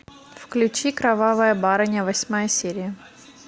включи кровавая барыня восьмая серия